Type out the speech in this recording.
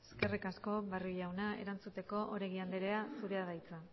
eskerrik asko barrio jauna erantzuteko oregi andrea zurea da hitza